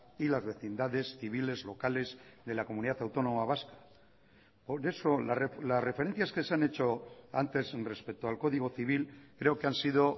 y las vecindades civiles locales de la comunidad autónoma vasca por eso las referencias que se han hecho antes respecto al código civil creo que han sido